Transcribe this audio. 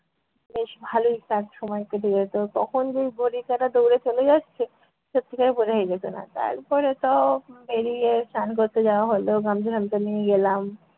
বেশ ভালোই কা~ সময় কেটে যেতো, কখন যে ঘড়ির কাটা দৌড়ে চলে যাচ্ছে সত্যিকারের বোঝাই যেত না। তারপরে তো বেরিয়ে স্নান করতে যাওয়া হলো গামছা টামছা নিয়ে গেলাম।